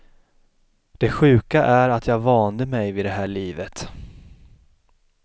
Det sjuka är att jag vande mig vid det här livet.